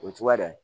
O ye cogoya dan ye